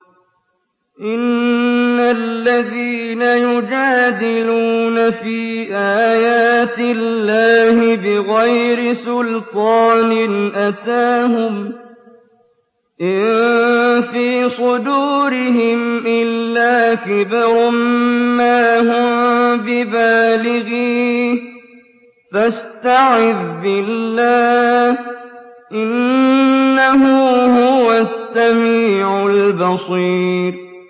إِنَّ الَّذِينَ يُجَادِلُونَ فِي آيَاتِ اللَّهِ بِغَيْرِ سُلْطَانٍ أَتَاهُمْ ۙ إِن فِي صُدُورِهِمْ إِلَّا كِبْرٌ مَّا هُم بِبَالِغِيهِ ۚ فَاسْتَعِذْ بِاللَّهِ ۖ إِنَّهُ هُوَ السَّمِيعُ الْبَصِيرُ